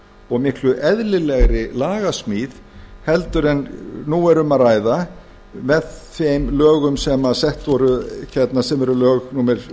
og miklu eðlilegri lagasmíð heldur en nú er um að ræða með þeim lögum sem eru lög númer